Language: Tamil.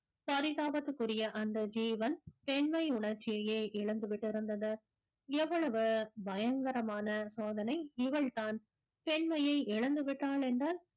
பரிதாபத்துக்குரிய அந்த ஜீவன் பெண்மை உணர்ச்சியையே இழந்துவிட்டிருந்தது எவ்வளவு பயங்கரமான சோதனை இவள்தான் பெண்மையை இழந்து விட்டாள் என்றால்